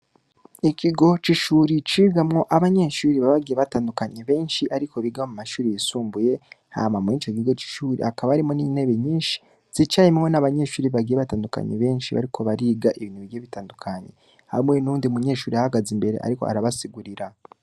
Ikigo cishure cigamwo abanyeshure baba bagiye batandukanye benshi ariko biga mu mashure yisumbuye hama mwico kigo cishure hakaba harimwo n'intebe nyinshi zicayemwo n'abanyeshure bagiye batandukanye benshi bariko bariga ibintu bigiye bitandukanye, hamwe nuwundi munyeshure ahagaze imbere ariko arabasigurira.